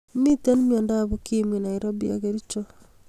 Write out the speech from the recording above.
Miten miandab ukimwi nairobi ak kercho